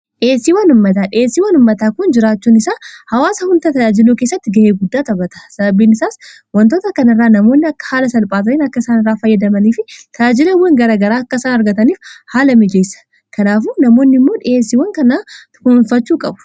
dheessiiw wan ummataa kun jiraachuun isaa hawaasa hundata ajiluu keessatti ga'ee guddaa tabata sababiin isaas wantoota kan irraa namoonni akka haala salphaata'iin akka isaan irraa fayyadamanii fi ta'ajileewwan garagaraa akkaisaan argataniif haala mijeessa kanaafu namoonni immoo dhiheesiiwwan kanaa tukunuffachuu qabu